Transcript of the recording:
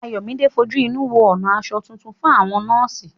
Ayọ̀míde fojú inú wo ọ̀nà aṣọ tuntun fún àwọn nọ́ọ̀sì